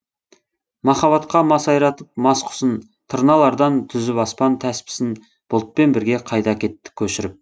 махаббатқа масайратып мас құсын тырналардан түзіп аспан тәспісін бұлтпен бірге қайда әкетті көшіріп